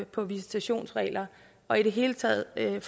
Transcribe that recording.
på visitationsregler og i det hele taget kan